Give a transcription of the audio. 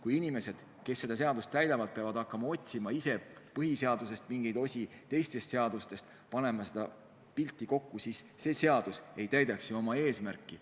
Kui inimesed, kes seda seadust täidavad, peavad hakkama põhiseadusest ja teistest seadustest mingeid osi otsima ja pilti kokku panema, siis see seadus ei täidaks ju oma eesmärki.